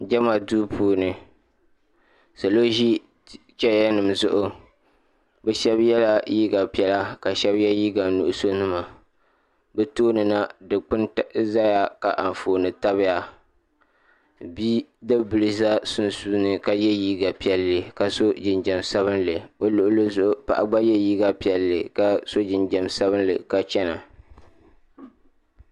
jɛma duu puuni salo ʒi cheeyanima zuɣu bɛ shɛba yela liiga piɛla ka shɛba ye liiga nuɣisɔ nima bɛ tooni na dukpuni zaya ka anfooni tabi ya bidib' bila za sunsuuni ka ye liiga piɛlli ka sɔ jinjam sabinli o luɣili zuɣu paɣa gba ye liiga piɛlli ka sɔ jinjam sabinli ka chana.